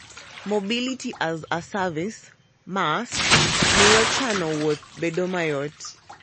Mobility-as-a-Service (MaaS) miyo chano wuoth bedo mayot.